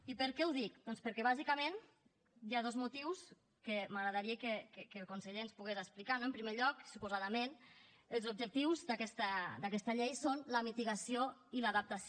i per què ho dic doncs perquè bàsicament hi ha dos motius que m’agradaria que el conseller ens pogués explicar no en primer lloc suposadament els objectius d’aquesta llei són la mitigació i l’adaptació